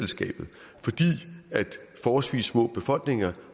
forholdsvis små befolkninger